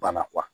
Bana